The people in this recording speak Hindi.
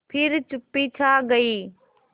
फिर चुप्पी छा गई